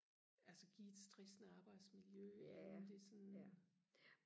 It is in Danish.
altså give et stressende arbejdsmiljø inden det sådan